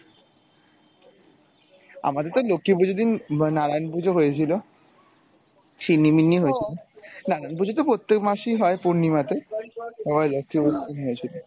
আমাদের তো লক্ষী পূজোর দিন নারায়ণ পূজো হয়েছিল শিন্নি মিন্নি হয়েছিল নারায়ণ পূজো তো প্রত্যেক মাসেই হয় পূর্ণিমাতে হম লক্ষী পুজোর দিন হয়েছিল।